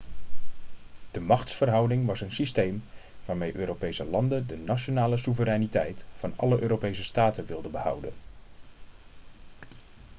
de machtsverhouding was een systeem waarmee europese landen de nationale soevereiniteit van alle europese staten wilden behouden